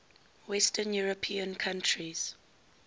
western european countries